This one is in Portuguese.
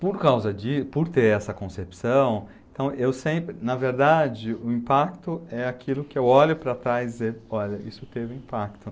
Por causa di, por ter essa concepção, então eu sempre, na verdade, o impacto é aquilo que eu olho para trás dizendo, ''olha, isso teve impacto''.